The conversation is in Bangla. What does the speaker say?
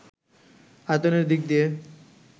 আয়তনের দিক দিয়ে